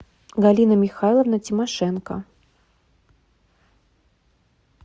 галина михайловна тимошенко